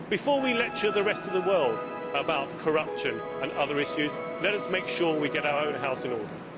Before we lecture the rest of the world about corruption and other issues, let us make sure we get our own house in order.